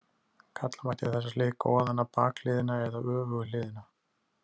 Kalla mætti þessa hlið goðanna bakhliðina eða öfugu hliðina.